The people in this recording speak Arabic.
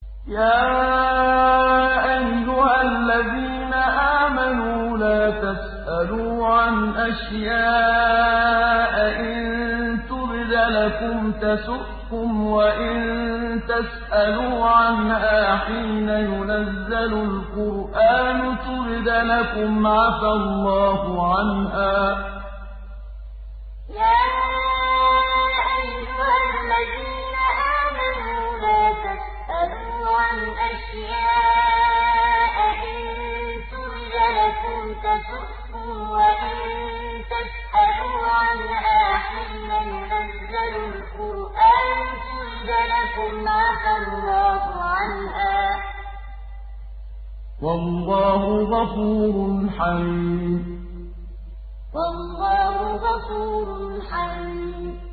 يَا أَيُّهَا الَّذِينَ آمَنُوا لَا تَسْأَلُوا عَنْ أَشْيَاءَ إِن تُبْدَ لَكُمْ تَسُؤْكُمْ وَإِن تَسْأَلُوا عَنْهَا حِينَ يُنَزَّلُ الْقُرْآنُ تُبْدَ لَكُمْ عَفَا اللَّهُ عَنْهَا ۗ وَاللَّهُ غَفُورٌ حَلِيمٌ يَا أَيُّهَا الَّذِينَ آمَنُوا لَا تَسْأَلُوا عَنْ أَشْيَاءَ إِن تُبْدَ لَكُمْ تَسُؤْكُمْ وَإِن تَسْأَلُوا عَنْهَا حِينَ يُنَزَّلُ الْقُرْآنُ تُبْدَ لَكُمْ عَفَا اللَّهُ عَنْهَا ۗ وَاللَّهُ غَفُورٌ حَلِيمٌ